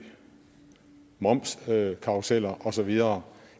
momskarruseller og så videre